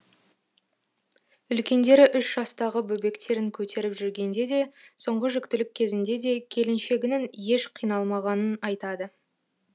үлкендері үш жастағы бөбектерін көтеріп жүргенде де соңғы жүктілік кезінде де келіншегінің еш қиналмағаннын айтады